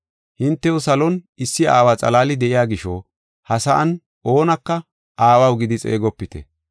Hintew salon issi aawa xalaali de7iya gisho, ha sa7an oonaka ‘Aawaw’ gidi xeegopite.